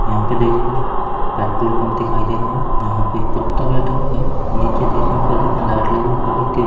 यहां पे देखिए पेट्रोल पंप दिखाई दे सकते है यहां पे एक कुत्ता बैठा हुआ है निचे देखने पर देखिए लाइट लगी हुई ऊपर --